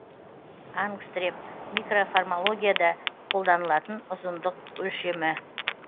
ангстрем микроморфологияда қолданылатын ұзындық өлшемі